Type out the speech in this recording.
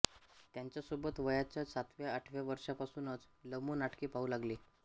त्यांच्यासोबत वयाच्या सातव्याआठव्या वर्षांपासूनच लमो नाटके पाहू लागले